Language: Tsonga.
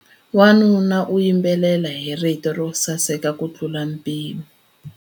Wanuna u yimbelela hi rito ro saseka kutlula mpimo.